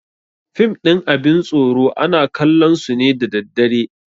Fim ɗin abin tsoro ana kallon su ne da daddare